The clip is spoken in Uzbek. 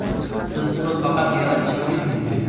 Siz uni faqat yaratishingiz mumkin.